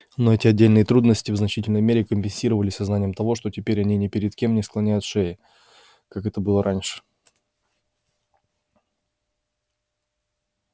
но эти отдельные трудности в значительной мере компенсировались сознанием того что теперь они ни перед кем не склоняют шеи как это было раньше